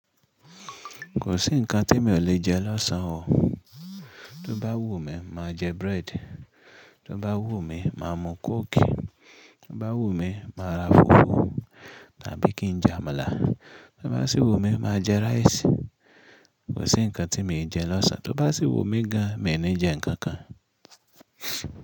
Kò sí ǹkan tí emi ò lè jẹ lọ́sàn o. Tó bá wù mí, máa jẹ bread, tó bá wù mí, máa mú coke, tó bá wù mí, máa ra fùfú tàbí kí n jẹ àmàlà, tó bá sì wù mí, máa jẹ rice. Kò sí ǹkan tí mi e jẹ lọ́sàn, tó bá sì wù mí gan, mi n ni jẹ ǹkan kan.